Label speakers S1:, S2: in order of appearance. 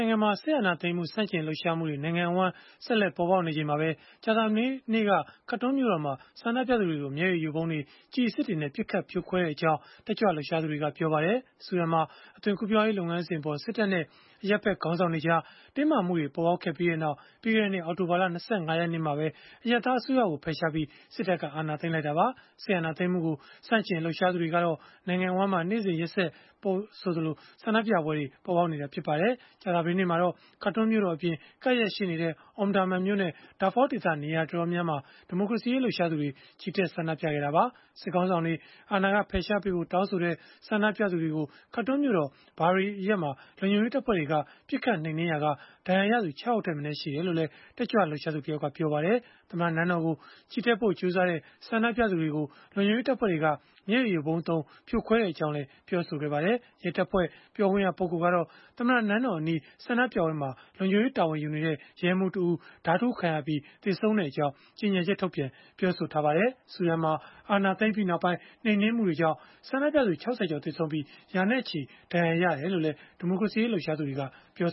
S1: ိုင်ငံမှာ စစ်အာဏာသိမ်းမှု ဆန့်ကျင်လှုပ်ရှားမှုတွေ နိုင်ငံအဝန်း ဆက်လက်ပေါ်ပေါက်နေချိန်မှာပဲ ကြာသပတေးနေ့က Khartoum မြို့တော်မှာ ဆန္ဒပြသူတွေကို မျည်ရည်ယိုဗုံးတွေ၊ ကျည်အစစ်တွေနဲ့ ပစ်ခတ်ဖြိုခွဲခဲ့ကြောင်း တက်ကြွလှုပ်ရှားသူတွေက ပြောပါတယ်။ ဆူဒန်နိုင်ငံမှာ အသွင်ကူးပြောင်းရေး လုပ်ငန်းစဉ်အပေါ် စစ်တပ်နဲ့ အရပ်ဖက်ခေါင်းဆောင်တွေကြား တင်းမာမှုတွေ ပေါ်ပေါက်ခဲ့ပြီးနောက် ပြီးခဲ့တဲ့နှစ် အောက်တိုဘာလ ၂၅ ရက်နေ့မှာပဲ ဝန်ကြီးချုပ် Abdalla Hamdok အရပ်သား အစိုးရကို ဖယ်ရှားပြီး စစ်တပ်က အာဏာသိမ်းခဲ့တာပါ။ စစ်အာဏာသိမ်းမှုကို ဆန့်ကျင်လှုပ်ရှားမှုတွေကတော့ နိုင်ငံအဝန်းမှာ နေ့စဉ်ရက်ဆက်ဆိုသလို ပေါ်ပေါက်နေတာ ဖြစ်ပါတယ်။ ကြာသပတေးနေ့မှာတော့ Khartoum မြို့တော်အပြင် ကပ်လျက်ရှိနေတဲ့ Omdurman မြို့နဲ့ Darfur ဒေသ နေရာတော်တော်များများမှာ ဒီမိုကရေစီရေး လှုပ်ရှားသူတွေ ချီတက်ဆန္ဒပြခဲ့ကြတာပါ။ စစ်ခေါင်းဆောင်တွေ အာဏာဖယ်ရှားပေးဖို့ တောင်းဆိုကြတဲ့ ဆန္ဒပြသူတွေကို Khartoum မြို့တော် Bahri အရပ်မှာ လုံခြုံရေးတပ်ဖွဲ့တွေက ပစ်ခတ်နှိမ်နင်းမှုကြောင့် ဒဏ်ရာရသူ ၆ ယောက်ထက်မနည်း ရှိခဲ့ကြောင်းလည်း တက်ကြွလှုပ်ရှားသူ တယောက်က ပြောပါတယ်။ သမ္မတနန်းတော်ကို ချီတက်ဖို့ ကြိုးစားကြတဲ့ ဆန္ဒပြသူတွေကို လုံခြုံရေးတပ်ဖွဲ့တွေက မျက်ရည်ယိုဗုံးသုံး ပစ်ခတ်ဖြိုခွဲခဲ့ကြောင်းလည်း ပြောပါတယ်။ ရဲတပ်ဖွဲ့ ပြောခွင့်ရသူကတော့ သမ္မတနန်းတော်အနီး ဆန္ဒပြပွဲမှာ လုံခြုံရေး တာဝန်ယူနေတဲ့ ရဲမှူးတဦးဟာ ဓားထိုးခံရပြီး သေဆုံးခဲ့ကြောင်း ကြေညာချက်ထုတ်ပြန်ပြောဆိုခဲ့ပါတယ်။ ဆူဒန်မှာ အာဏာသိမ်းပြီးနောက်ပိုင်း နှိမ်နင်းမှုတွေကြောင့် ဆန္ဒပြသူ ၆၀ ကျော် သေဆုံးပြီး၊ ရာနဲ့ချီ ဒဏ်ရာရခဲ့ကြောင်းလည်း ဒီမိုကရေစီရေး လှုပ်ရှားသူတွေက ပြော